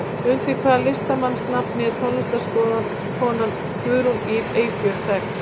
Undir hvaða listamannsnafni er tónlistarkonan Guðrún Ýr Eyfjörð þekkt?